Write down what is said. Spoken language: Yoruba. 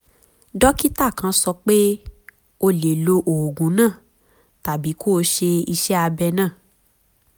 dókítà kàn sọ pé o lè lo oògùn náà tàbí kó o ṣe iṣẹ́ abẹ náà